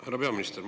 Härra peaminister!